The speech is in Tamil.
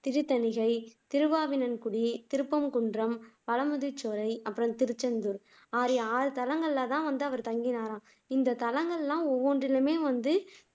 திருத்தணிகை, திருவாவினன்குடி, திருப்பரங்குன்றம், பழமுதிர்சோலை, அப்புறம் திருச்செந்தூர் ஆகிய ஆறு தலங்கள்லதான் வந்து அவர் தங்கினாராம் இந்த தலங்கள்லாம் ஒவ்வொன்றுமே வந்து